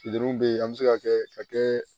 Furudimi bɛ yen an bɛ se ka kɛ ka kɛ